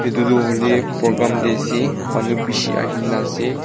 etu tu hoile program te ase manu bisi ahe kina ase.